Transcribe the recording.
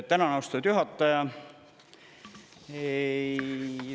Tänan, austatud juhataja!